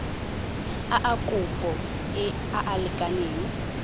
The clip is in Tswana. a kopo a a lekaneng